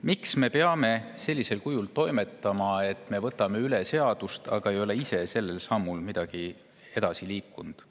Miks me peame toimetama sellisel kujul, et võtame üle, olemata ise sellel sammugi edasi liikunud?